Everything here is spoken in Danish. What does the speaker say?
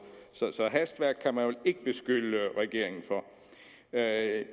så hastværk kan man vel ikke beskylde regeringen for at